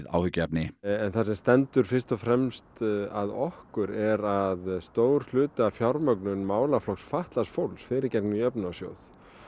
áhyggjuefni það sem stendur fyrst og fremst að okkur er að stór hluti af fjármögnun málaflokks fatlaðs fólks fer í gegnum jöfnunarsjóðinn